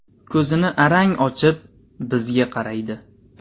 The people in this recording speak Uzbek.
Ko‘zini arang ochib, bizga qaraydi.